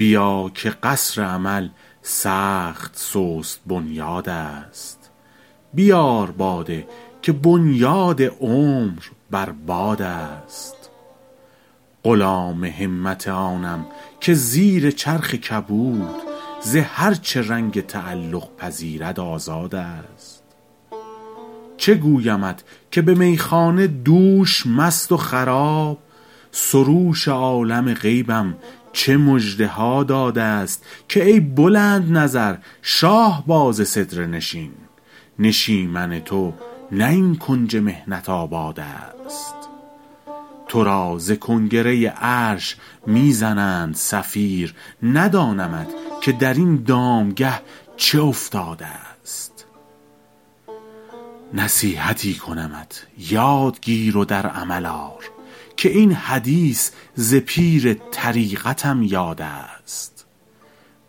بیا که قصر امل سخت سست بنیادست بیار باده که بنیاد عمر بر بادست غلام همت آنم که زیر چرخ کبود ز هر چه رنگ تعلق پذیرد آزادست چه گویمت که به میخانه دوش مست و خراب سروش عالم غیبم چه مژده ها دادست که ای بلندنظر شاهباز سدره نشین نشیمن تو نه این کنج محنت آبادست تو را ز کنگره عرش می زنند صفیر ندانمت که در این دامگه چه افتادست نصیحتی کنمت یاد گیر و در عمل آر که این حدیث ز پیر طریقتم یادست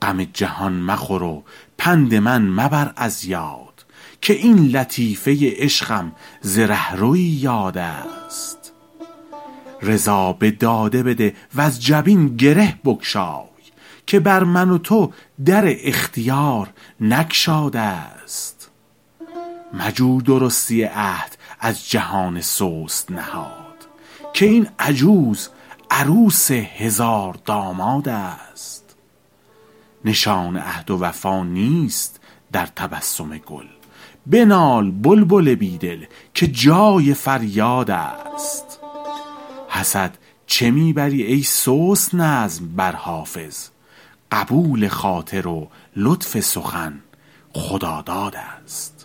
غم جهان مخور و پند من مبر از یاد که این لطیفه عشقم ز رهروی یادست رضا به داده بده وز جبین گره بگشای که بر من و تو در اختیار نگشادست مجو درستی عهد از جهان سست نهاد که این عجوز عروس هزاردامادست نشان عهد و وفا نیست در تبسم گل بنال بلبل بی دل که جای فریادست حسد چه می بری ای سست نظم بر حافظ قبول خاطر و لطف سخن خدادادست